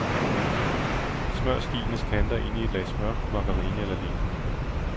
Smør skienes kanter ind i et lag smør, margarine eller lignende.